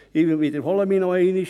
Ich wiederhole nochmals: